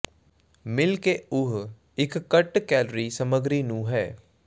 ਮਿਲ ਕੇ ਉਹ ਇੱਕ ਘੱਟ ਕੈਲੋਰੀ ਸਮੱਗਰੀ ਨੂੰ ਹੈ